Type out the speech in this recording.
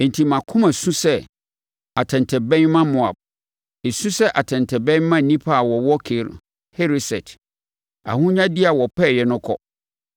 “Enti mʼakoma su sɛ atɛntɛbɛn ma Moab; esu sɛ atɛntɛbɛn ma nnipa a wɔwɔ Kir Hereset. Ahonyadeɛ a wɔpɛeɛ no kɔ.